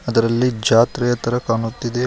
ಅದರಲ್ಲಿ ಜಾತ್ರೆ ತರ ಕಾಣುತ್ತಿದೆ ಮೇಲ್ --